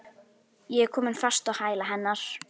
Ég er komin fast á hæla hennar.